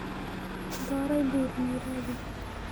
Doorey buuran iiradi.